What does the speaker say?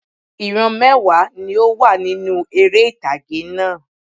Ìran mẹ́wàá ni ó wà nínú eré ìtàgé náà